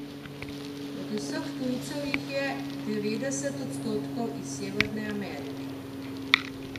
Od vseh tujcev jih je devetdeset odstotkov iz Severne Amerike.